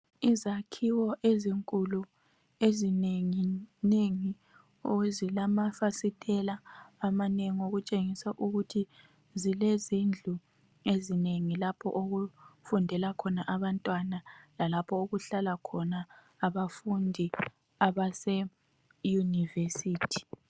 izakhiwo ezinkulu ezinenginengi ezilamafasitela amanengi okutshengisa ukuth zilezindlu ezinengi lapho okufundela khona abantwana lalapho okuhlala khona abafundi abase university